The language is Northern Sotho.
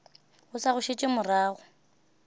o sa go šetše morago